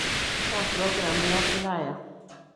Kaa program iaplaya?